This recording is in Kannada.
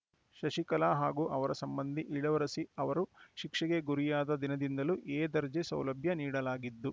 ಶಶಿಕಲಾ ಹಾಗೂ ಅವರ ಸಂಬಂಧಿ ಇಳವರಸಿ ಅವರು ಶಿಕ್ಷೆಗೆ ಗುರಿಯಾದ ದಿನದಿಂದಲೂ ಎ ದರ್ಜೆ ಸೌಲಭ್ಯ ನೀಡಲಾಗಿದ್ದು